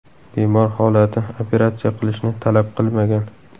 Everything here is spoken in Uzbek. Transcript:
Bemor holati operatsiya qilishni talab qilmagan.